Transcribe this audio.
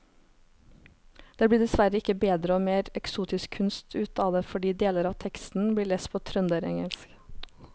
Det blir dessverre ikke bedre og mer eksotisk kunst ut av det fordi deler av teksten blir lest på trønderengelsk.